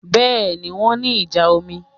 Bẹ́ẹ̀ni, wọ́n ní ìjà omi